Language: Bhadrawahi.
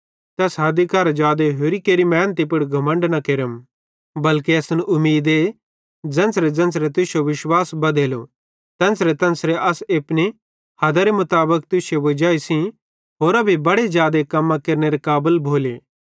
ते अस हदी करां जादे होरि केरे मेहनती पुड़ घमण्ड न केरम बल्के असन उमीदे ज़ेन्च़रेज़ेन्च़रे तुश्शो विश्वास बधेलो तेन्च़रेतेन्च़रे अस एपनी हदारे मुताबिक तुश्शे वजाई सेइं होरां भी बड़ां जादे कम्मां केरनेरे काबल भोले